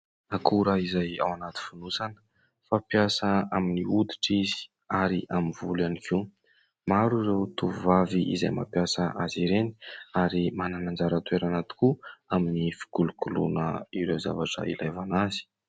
Akora izay ao anaty fonosana fampiasa amin'ny hoditra izy ary amin'ny volo ihany koa. Maro ireo tovovavy izay mampiasa azy ireny ary manana anjara toerana tokoa amin'ny fikolokoloana ireo zavatra ilaivana azy.